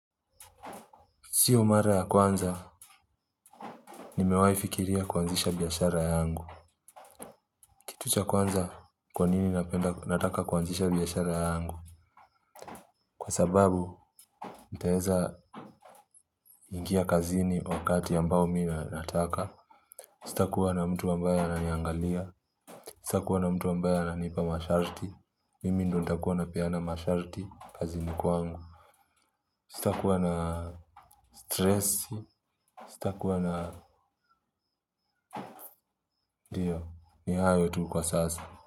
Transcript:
Siyo mara ya kwanza, nimewahi fikiria kuanzisha biashara yangu. Kitu cha kwanza, kwa nini napenda nataka kuanzisha biashara yangu? Kwa sababu nitaweza ingia kazini wakati ambao mimi nataka. Sitakuwa na mtu ambaye ananiangalia. Sitakuwa na mtu ambaye ananipa masharti. Mimi ndiyo nitakuwa napeana masharti kazini kwangu. Sitakuwa na stress. Sitakuwa na ndiyo, ni hayo tu kwa sasa.